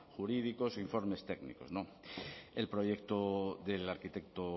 jurídicos o informes técnicos el proyecto del arquitecto